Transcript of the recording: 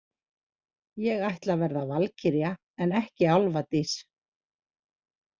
Ég ætla að verða valkyrja en ekki álfadís.